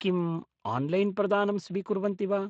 किम् आन्लैन्प्रदानं स्वीकुर्वन्ति वा?